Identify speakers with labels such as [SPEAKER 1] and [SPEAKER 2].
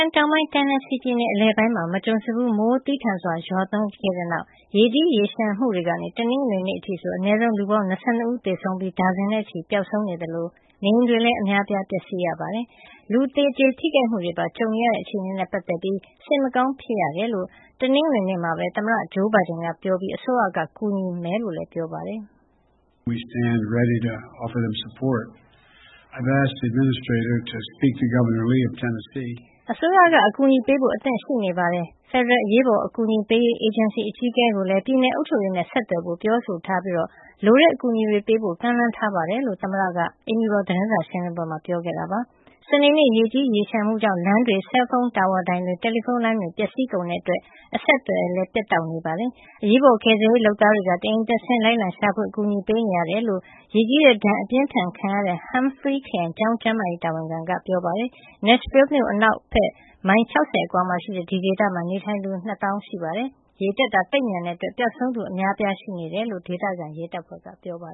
[SPEAKER 1] န် တောင်ပိုင်း Tennessee ပြည်နယ်အလယ်ပိုင်းမှာ မကြုံစဖူးမိုးသည်းထန်စွာ ရွာသွန်းခဲ့တဲ့နောက် ရေကြီးရေလျှံမှုကနေ တနင်္ဂနွေနေ့ အထိဆို အနည်းဆုံး လူပေါင်း ၂၂ ဦး သေဆုံးခဲ့ရပြီး ဒါဇင်နဲ့ချီ ပျောက်ဆုံး နေသလို နေအိမ်တွေလည်း အများအပြား ပျက်စီးခဲ့ရပါတယ်။ လူသေကျေထိခိုက်မှုတွေပါ ကြုံခဲ့ရတဲ့ အခြေအနေနဲ့ ပတ်သက်လို့ စိတ်မကောင်းဖြစ်ရကြောင်း တနင်္ဂနွေနေ့မှာပဲ သမ္မတ Joe Biden ပြောဆိုလိုက်ပြီး အစိုးရက ကူညီဖို့လည်း ပြောလိုက်ပါတယ်။ "အစိုးရက အကူအညီပေးဖို့ အသင့်ရှိနေပါတယ်။ ဖယ်ဒရယ် အရေးပေါ်အကူအညီပေးရေး အေဂျင်စီ အကြီးအကဲကိုလည်း ပြည်နယ်အုပ်ချုပ်ရေးနဲ့ ဆက်သွယ်ဖို့ ပြောဆိုထားပြီး၊ လိုအပ်တဲ့ အကူအညီတွေ ပေးဖို့လည်း ကမ်းလှမ်းထားပါတယ်။" လို့ သမ္မတဘိုင်ဒင်က တနင်္ဂနွေနေ့ အိမ်ဖြူတော် သတင်းစာရှင်းလင်းပွဲမှာ ပြောဆိုသွားတာပါ။ စနေနေ့က ရေကြီးရေလျှံမှုကြောင့် လမ်းတွေ၊ ဆဲလ်ဖုံးတာဝါတိုင်တွေ၊ တယ်လီဖုံးလိုင်းတွေ ပျက်စီးကုန်တဲ့ အတွက် အဆက်အသွယ်တွေ ပြတ်တောက်နေပါတယ်။ အရေးပေါ်ကယ်ဆယ်ရေး လုပ်သားတွေက တအိမ်တက် တအိမ်ဆင်း လိုက်လံရှာဖွေ အကူအညီတွေ ပေးနေရတယ်လို့ ရေကြီးတဲ့ ဒဏ်အပြင်းအထန်ခံရတဲ့ Humphrey ခရိုင် ကျောင်းကျန်းမာရေးတာဝန်ခံက ပြောပါတယ်။ Nashville မြို့ အနောက်ဖက် မိုင် ၆၀ လောက်အကွာမှာရှိတဲ့ ဒီဒေသမှာ နေထိုင်သူ လူဦးရေက ၂ သောင်းနီးပါးရှိပါတယ်။ ရေတက်တာ သိပ်မြန်တဲ့နေရာတွေမှာ ပျောက်ဆုံးနေသူ အများအပြားရှိနေတယ်လို့လည်း ဒေသခံ ရဲတပ်ဖွဲ့က ပြောပါ